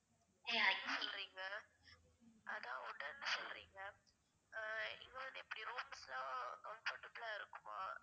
Wood னு சொல்றீங்க அதான் wooden னு சொல்றிங்க அஹ் இங்க வந்து எப்டி rooms லாம் comfortable ஆ இருக்குமா?